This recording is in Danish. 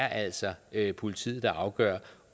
altså er politiet der afgør